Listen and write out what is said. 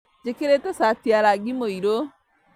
Njĩkĩrĩte cati ya rangi mũirũ